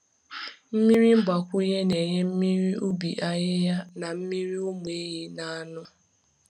Mmiri mgbakwunye na-enye mmiri ubi ahịhịa na mmiri ụmụ ehi na-aṅụ.